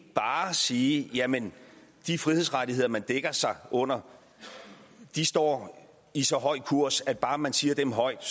bare sige jamen de frihedsrettigheder man dækker sig under står i så høj kurs at bare man siger dem højt